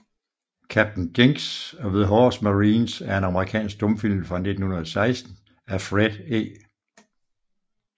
Captain Jinks of the Horse Marines er en amerikansk stumfilm fra 1916 af Fred E